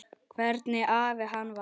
Hvernig afi hann var.